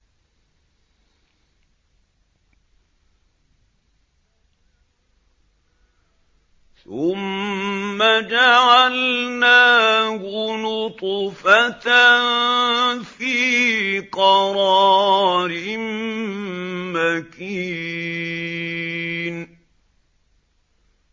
ثُمَّ جَعَلْنَاهُ نُطْفَةً فِي قَرَارٍ مَّكِينٍ